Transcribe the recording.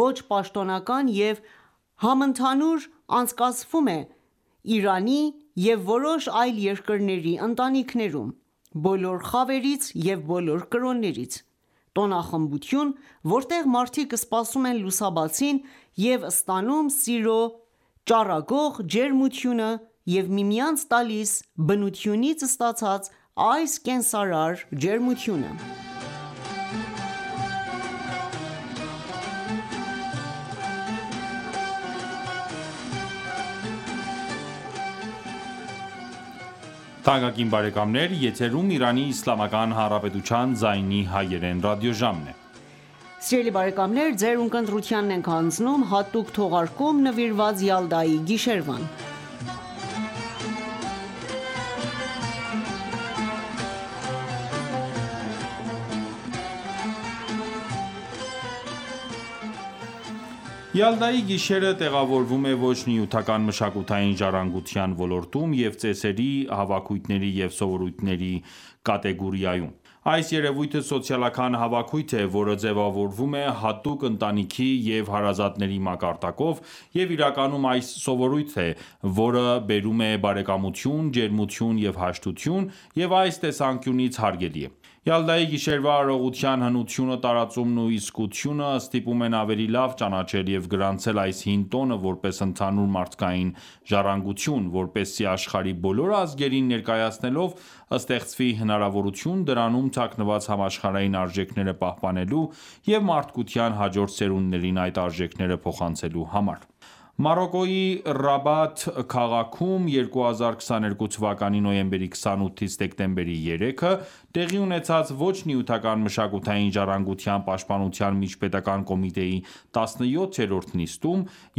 ոչ պաշտոնական և համընդհանուր անցկացվում է Իրանի և որոշ այլ երկրների ընտանիքներում՝ բոլոր խավերից և բոլոր կրոններից: Տոնախմբություն, որտեղ մարդիկ սպասում են լուսաբացին և ստանում սիրո ճառագող ջերմությունը և միմյանց տալիս բնությունից ստացած այս կենարար ջերմությունը։ Յալդայի գիշերը տեղավորվում է ոչ նյութական մշակութային ժառանգության ոլորտում և ծեսերի, հավաքույթների և սովորույթների կատեգորիայում։ Այս երևույթը սոցիալական հավաքույթ է, որը ձևավորվում է հատուկ ընտանիքի և հարազատների մակարդակով, և իրականում այն սովորույթն է, որը բերում է բարեկամություն, ջերմություն և հաշտություն, և այս տեսանկյունից հարգելի է։ Յալդայի գիշերվա արարողության հնությունը, տարածումն ու իսկությունը ստիպում են ավելի լավ ճանաչել և գրանցել այս հին տոնը որպես ընդհանուր մարդկային ժառանգություն՝ որպեսզի աշխարհի բոլոր ազգերին ներկայացնելով, ստեղծվի հնարավորություն դրանում թաքնված համաշխարհային արժեքները պահպանելու և մարդկության հաջորդ սերունդներին այդ արժեքները փոխանցելու համար։ Մարոկկոյի Ռաբաթ քաղաքում 2022 թ. նոյեմբերի 28-ից դեկտեմբերի 3-ը տեղի ունեցած ոչ նյութական մշակութային ժառանգության պաշտպանության միջպետական կոմիտեի 17-րդ նիստում